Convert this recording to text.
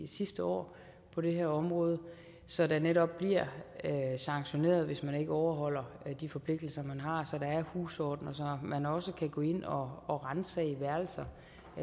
sidste år på det her område så der netop bliver sanktioneret hvis man ikke overholder de forpligtelser man har så der er husorden og så man også kan gå ind og og ransage værelser